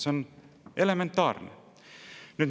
See on elementaarne.